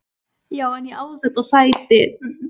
Já en ég á þetta sæti!